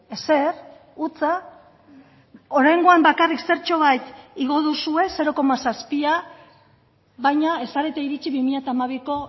ezer hutsa oraingoan bakarrik zertxobait igo duzue zero koma zazpia baina ez zarete iritsi bi mila hamabiko